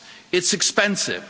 It's expensive.